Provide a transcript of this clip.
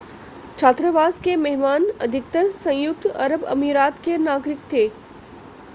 छात्रावास के मेहमान अधिकतर संयुक्त अरब अमीरात के नागरिक थे